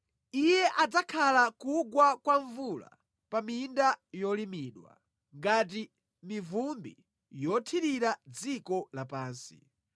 Iye adzakhala kugwa kwa mvula pa minda yolimidwa ngati mivumbi yothirira dziko lapansi.